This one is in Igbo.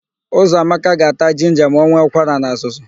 Ụzọamaka ga-ata jinja ma ọ nwee ụkwara na azụzụ.